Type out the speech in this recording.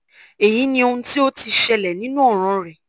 eyi ni ohun ti o ti ṣẹlẹ ninu ọran rẹ